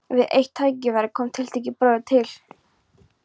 Við eitt tækifæri kom tiltekinn bróðir til